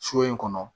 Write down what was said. So in kɔnɔ